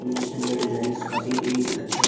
नीचे में डिजाइंस काफी ऐ अच्छा लग --